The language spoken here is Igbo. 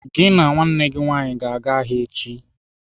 "Gị na nwanne gị nwaanyị gaa ahịa echi!